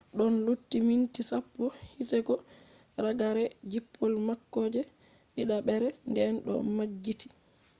ɗon lutti minti sappo hideko ragare jippol mako je ɗiɗaɓre nden o majjiti